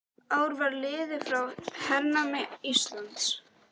Ár var liðið frá hernámi Íslands.